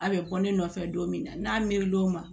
A bɛ bɔ ne nɔfɛ don min na n'a miiri l'o ma